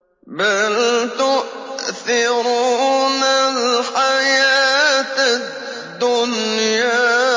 بَلْ تُؤْثِرُونَ الْحَيَاةَ الدُّنْيَا